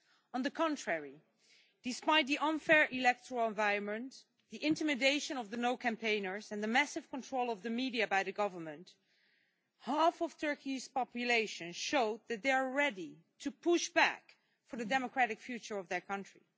On the contrary, despite the unfair electoral environment, the intimidation of the No campaigners and the massive control of the media by the government, half of Turkey's population showed that they are ready to push back for the democratic future of their country.